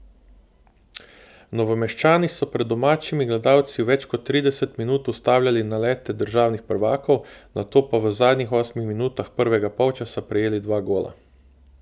Novomeščani so pred domačimi gledalci več kot trideset minut ustavljali nalete državnih prvakov, nato pa v zadnjih osmih minutah prvega polčasa prejeli dva gola.